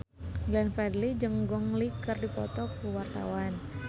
Glenn Fredly jeung Gong Li keur dipoto ku wartawan